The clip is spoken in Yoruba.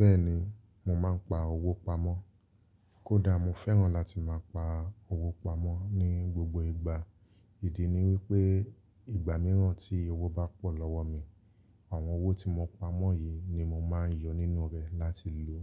Bẹ́ẹ̀ni, mo máa ń pa owó pamọ́. Kódà mo fẹ́ràn láti máa pa owó pamọ́ ní gbogbo ìgbà. Ìdí ni wípé ìgbà mìíràn tí owó bá pọ̀ lọ́wọ́ mi, àwọn owó tí mo pamọ́ yìí ni mo máa ń yọ nínú rẹ̀ láti lò